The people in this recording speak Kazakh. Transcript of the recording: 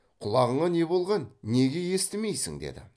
құлағыңа не болған неге естімейсің деді